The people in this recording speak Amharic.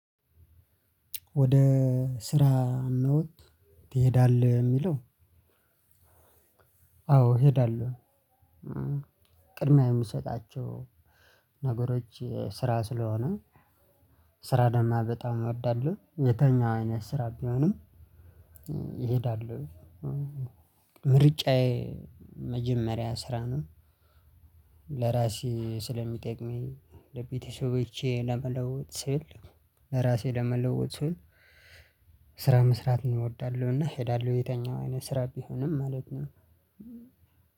ወደ ስራ ትሄዳለህ የሚለው? አዎ እሄዳለሁ። ቅድሚያ የምሰጣቸው ነገሮች ስራ ስለሆነ ስራ ደግሞ በጣም እወዳለሁ። የትኛው አይነት ስራ ቢሆንም እሄዳለሁ። ምርጫዬ መጀመሪያ ስራ ነው። ለራሴ ስለሚጠቅመኝ ለቤተሰቦቼ ለመለወጥ ስል ለራሴ ለመለወጥ ስራ መስራት እንወዳለሁ። እና እሄዳለሁ የትኛው አይነት ስራ ቢሆንም ማለት ነው።